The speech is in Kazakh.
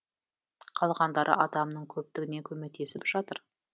қалғандары адамның көптігінен көмектесіп жатыр